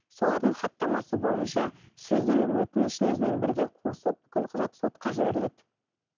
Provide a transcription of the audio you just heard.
солардың хаттамасы бойынша сіздің өтінішіңізбен бірге қосып бүкіл құжат сотқа жіберіледі